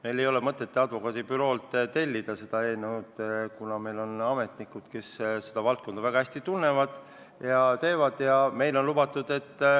Meil ei ole mõtet seda eelnõu advokaadibüroolt tellida, kuna meil on ametnikud, kes seda valdkonda väga hästi tunnevad.